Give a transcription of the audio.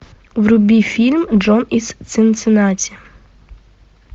вруби фильм джон из цинциннати